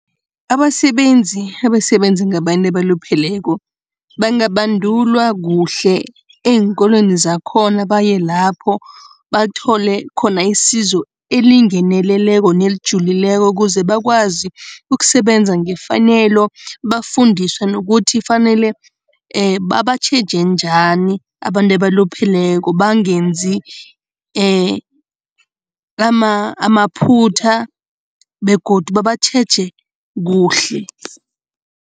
Abasebenzi abasebenza ngabantu abalupheleko, bangabandulwa kuhle eenkolweni zakhona. Baye lapho, bathole khona isizo elingeneleleko nelijulileko ukuze bakwazi ukusebenza ngefanelo, bafundiswe nokuthi fanele babatjheje njani abantu abalupheleko, bangenzi amaphutha begodu babatjheje kuhle.